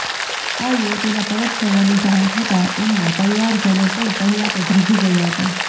આ યુવતીના પરત ફરવાની જાણ થતાં એમના પરિવારજનો પણ પહેલા તો ધ્રુજી ગયા હતા